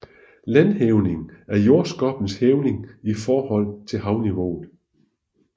Landhævning er jordskorpens hævning i forhold til havniveau